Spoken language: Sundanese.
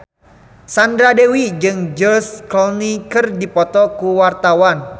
Sandra Dewi jeung George Clooney keur dipoto ku wartawan